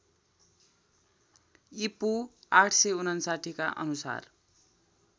ईपू ८५९ का अनुसार